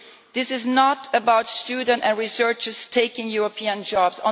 This is not about students and researchers taking European jobs.